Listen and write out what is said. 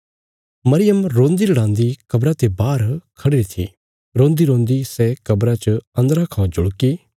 मरियम रोंदीरड़ांदी कब्रा ते बाहर खढ़ीरी थी रोंदीरोंदी सै कब्रा च अन्दरा खौ जुल्की